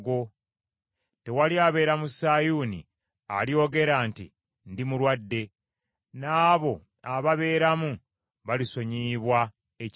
Tewali abeera mu Sayuuni alyogera nti, “Ndi mulwadde,” n’abo ababeeramu balisonyiyibwa ekibi kyabwe.